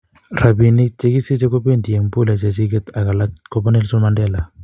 Rapinik che kisiche kopendi en pole chechiget ag alak kopa Nelson mandela.